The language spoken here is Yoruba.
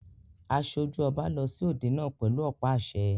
Aṣojú ọba lọ sí òde náà pẹ̀lú ọ̀pá àṣẹ.